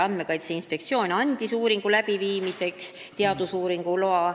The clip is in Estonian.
Andmekaitse Inspektsioon andis selle läbiviimiseks teadusuuringu loa.